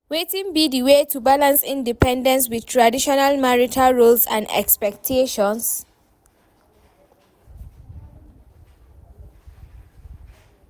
Wetin be di way to balance independence with traditional marital roles and expectations?